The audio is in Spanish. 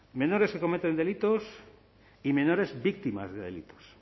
menores que cometen delitos y menores víctimas de delitos